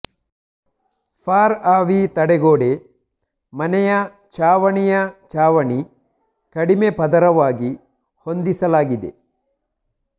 for ಆವಿ ತಡೆಗೋಡೆ ಮನೆಯ ಛಾವಣಿಯ ಚಾವಣಿ ಕಡಿಮೆ ಪದರವಾಗಿ ಹೊಂದಿಸಲಾಗಿದೆ